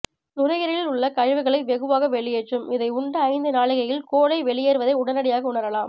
நுறையீரலில் உள்ள கழிவுகளை வெகுவாக வெளியேற்றும் இதை உண்ட ஐந்து நாழிகையில் கோழை வெளியேறுவதை உடனடியாக உணரலாம்